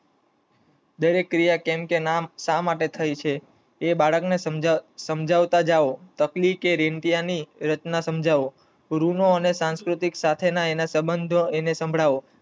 દરેક ક્રિયા કેંનકે નામ શા માટે થઇ છે? બાળક ને સમજવતાં જાવ, તકલી કે રેંટીયા ની રચના સમજાવો, રૂનો અને સંકૃતિક સાથે ના અને સંબંધો સંભળાવો.